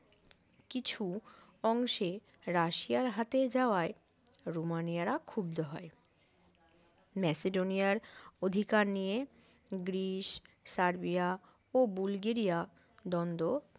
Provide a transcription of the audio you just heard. কিছু অংশে রাশিয়ার হতে যাওয়ায় রোমানিয়ারা ক্ষুব্ধ হয় মেসিডোনিয়ার অধিকার নিয়ে গ্রীস সার্বিয়া ও বুলগেরিয়া দ্বন্দ্ব